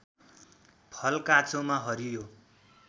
फल काँचोमा हरियो